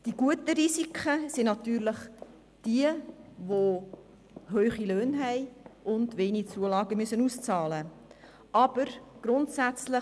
Zu den guten Risiken gehören jene, welche hohe Löhne haben und wenige Zulagen ausbezahlt erhalten.